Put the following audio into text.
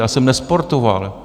Já jsem nesportoval.